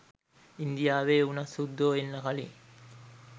ඉන්දියාවේ උනත් සුද්දෝ එන්න කලින්